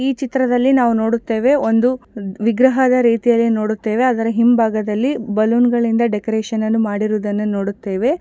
ಈ ಚಿತ್ರದಲ್ಲಿ ನಾವು ನೋಡುತ್ತೇವೆ ಒಂದು ವಿಗ್ರಹದ ರೀತಿಯಲ್ಲಿ ನೋಡುತ್ತೇವೆ ಅದರ ಹಿಂಭಾಗದಲ್ಲಿ ಬಲ್ಲೋನ್ ಗಳಿಂದ ಡೆಕೋರೇಷನನ್ನು ಗಲ್ಲನು ಮಾಡಿರುದನ್ನ ನೋಡುತ್ತೇವೆ.